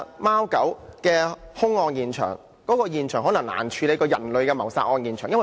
貓狗的兇案現場，可能較人類的謀殺案現場更難處理。